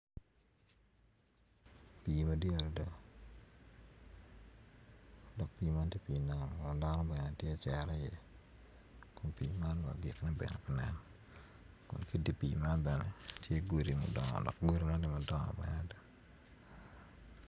Pii nam madit adada dok pii nam man dano bene tye ka cere iye kun pii man bene agikkine bene pe nen dok ki i dye pii man tye godi madongo.